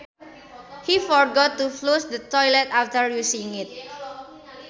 He forgot to flush the toilet after using it